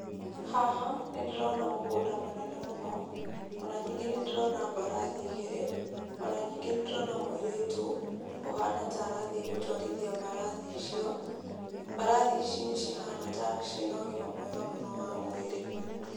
Haha nĩ ndĩrona mũgũnda mũnene mũno, ona ningĩ nĩ ndĩrona mbarathi igĩrĩ, ona ningĩ nĩ ndĩrona mũirĩtu, ũhana ta arathiĩ gũtwarithia mbarathi icio, mbarathi ici nĩ cihana ta ciĩna ũgima mwega mũno wa mwĩrĩ.